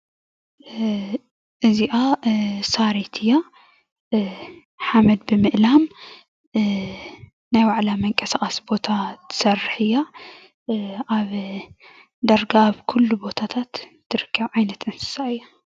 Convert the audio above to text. እዚአ ሳሪት እያ ሓመድ ብምእላም ናይ ባዕላ መንቀሳቀሲ ቦታ ትስርሕ እያ ዳርጋ አብ ኩሉ ቦታታት ትርከብ ዓይነት እንስሳ እያ፡፡